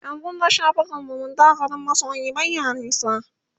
yanzun da shafukan zumunta garin masoyi baya nisa